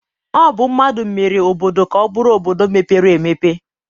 Ọ bụ mmadụ mere obodo ka ọ bụrụ obodo mepere emepe